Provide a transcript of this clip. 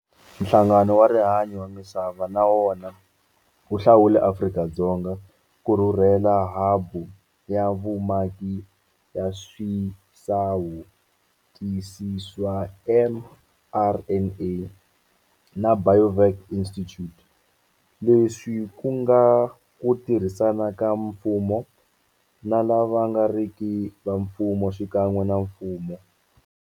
Nhlangano wa Rihanyo wa Misava na wona wu hlawule Afrika-Dzonga ku rhurhela habu ya vumaki ya swisawuTisi swa mRNA na Biovac Institute, leswi ku nga ku tirhisana ka mfumo na lava nga riki va mfumo xikan'we na mfumo.